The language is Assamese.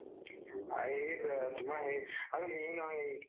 তুমাৰ হেৰি নহয়